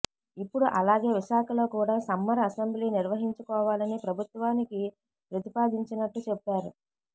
ఇప్పుడు అలాగే విశాఖలో కూడా సమ్మర్ అసెంబ్లీ నిర్వహించుకోవాలని ప్రభుత్వానికి ప్రతిపాదించినట్టు చెప్పారు